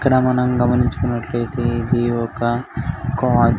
ఇక్కడ మనం గమించుకున్నట్లైతే ఇది ఒక కోయి --